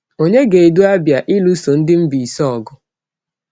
Ònye ga-edu Abia ịlụso ndị Mbaise ọgụ?